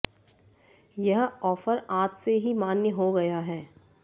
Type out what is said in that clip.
यह ऑफर आज से ही मान्य हो गया है